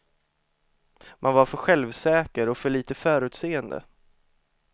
Man var för självsäker och för lite förutseende.